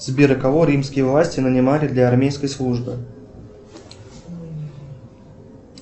сбер кого римские власти нанимали для армейской службы